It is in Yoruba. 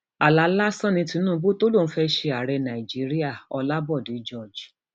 àlà lásán ni tinubu tó lóun fẹẹ ṣe ààrẹ nàíjíríà ń lábòde george